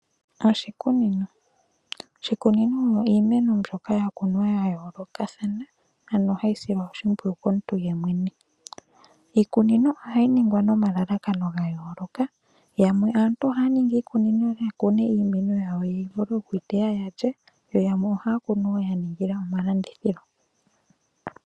Oshikunino, oshikunino iimeno mbyoka ya kunwa ya yoolokathana ano ha yi silwa oshimpwuyu komuntu ye mwene. Iikunino oha yi ningwa nomalalakano ga yooloka, yamwe aantu oha ya ningi iikunino ya kune iimeno yawo ya vule oku yi teya ya lye, yo yamwe ohaa kunu woo yaningila omalandithilo.